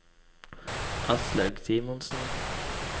Aslaug Simonsen